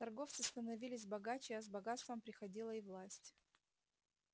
торговцы становились богаче а с богатством приходила и власть